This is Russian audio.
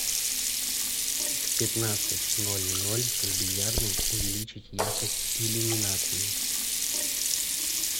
в пятнадцать ноль ноль в бильярдной увеличить яркость иллюминации